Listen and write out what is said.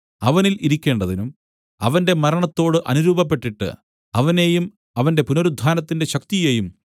അവനിൽ ഇരിക്കേണ്ടതിനും അവന്റെ മരണത്തിനോട് അനുരൂപപ്പെട്ടിട്ട് അവനെയും അവന്റെ പുനരുത്ഥാനത്തിന്റെ ശക്തിയെയും